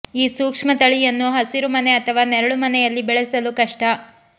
ಈ ಸೂಕ್ಷ್ಮ ತಳಿಯನ್ನು ಹಸಿರು ಮನೆ ಅಥವಾ ನೆರಳು ಮನೆಯಲ್ಲಿ ಬೆಳೆಸಲು ಕಷ್ಟ